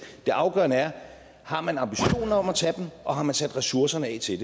det afgørende er har man ambitionen om at tage dem og har man sat ressourcerne af til